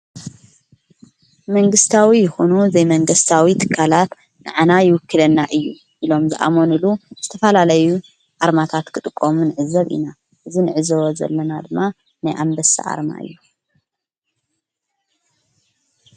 መንግሥታዊ ይኩኑ ዘይመንገሥታዊ ትካላት ንኣና ይውክለና እዩ ኢሎም ዝኣሞን ኢሉ ዝተፋላለዩ ኣርማታት ክጥቆም ንዕዘብ ኢና እዝ ንዕዘበ ዘለና ድማ ናይ ኣምበሳ ኣርማ እዩ።